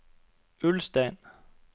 Ulstein